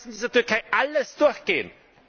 Sie lassen dieser Türkei alles durchgehen!